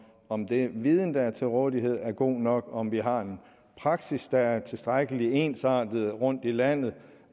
om den viden der er til rådighed er god nok og om vi har en praksis der er tilstrækkelig ensartet rundtom i landet